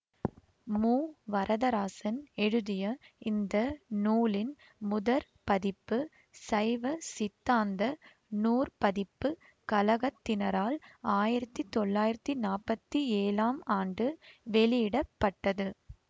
மு வரதராசன் எழுதிய இந்த நூலின் முதற் பதிப்பு சைவ சித்தாந்த நூற்பதிப்புக் கழகத்தினரால் ஆயிரத்தி தொள்ளாயிரத்தி நாற்பத்தி ஏழாம் ஆண்டு வெளியிட பட்டது